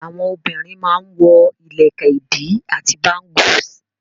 Àwọn obìrin má n wọ ìlẹ̀kẹ̀ ìdí àti bángùs.